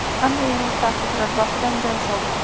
Hamda yer osti avtoturargohidan joy sovg‘a!